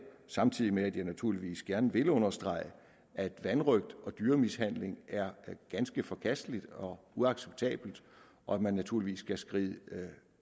samtidig med at jeg naturligvis gerne vil understrege at vanrøgt og dyremishandling er ganske forkasteligt og uacceptabelt og at man naturligvis skal skride